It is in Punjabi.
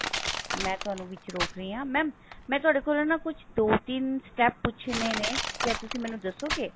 ਮੈਂ ਤੁਹਾਨੂੰ ਵਿੱਚ ਰੋਕ ਰਹੀ ਹਾਂ mam ਮੈਂ ਤੁਹਾਡੇ ਕੋਲੋਂ ਨਾ ਕੁਛ ਦੋ ਤਿੰਨ step ਪੁੱਛਨੇ ਨੇ ਕਿਆ ਤੁਸੀਂ ਮੈਨੂੰ ਦੱਸੋੰਗੇ